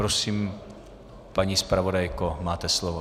Prosím, paní zpravodajko, máte slovo.